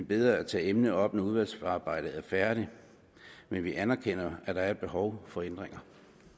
bedre at tage emnet op når udvalgsarbejdet er færdigt men vi anerkender at der er behov for ændringer